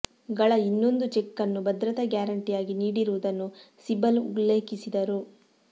ಗಳ ಇನ್ನೊಂದು ಚೆಕ್ ಅನ್ನು ಭದ್ರತಾ ಗ್ಯಾರಂಟಿಯಾಗಿ ನೀಡಿರುವುದನ್ನು ಸಿಬಲ್ ಉಲ್ಲೇಖಿಸಿದರು